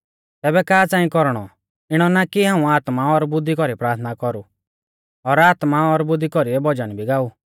तैबै का च़ांइ कौरणौ इणौ ना कि हाऊं आत्मा और बुद्धि कौरी प्राथना कौरु और आत्मा और बुद्धी कौरीऐ भजन भी गा ऊ